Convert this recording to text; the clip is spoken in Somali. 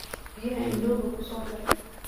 Biyaha ndooka kusoodar.